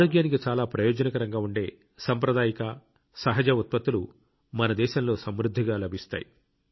ఆరోగ్యానికి చాలా ప్రయోజనకరంగా ఉండే సాంప్రదాయిక సహజ ఉత్పత్తులు మన దేశంలో సమృద్ధిగా లభిస్తాయి